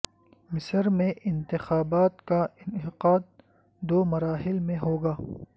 مصر میں انتخابات کا انعقاد دو مراحل میں ہو گا